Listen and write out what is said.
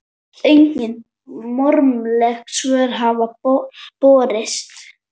Engin formleg svör hafa borist.